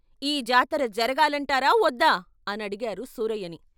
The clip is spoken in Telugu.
"ఈ జాతర జరగాలంటారా వద్దా" అని అడిగారు సూరయ్యని.